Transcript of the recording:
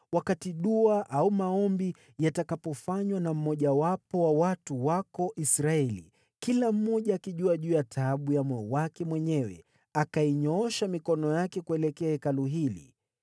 wakati dua au maombi yatakapofanywa na mmojawapo wa watu wako Israeli, kila mmoja akitambua taabu za moyo wake mwenyewe, naye akainyoosha mikono yake kuelekea Hekalu hili: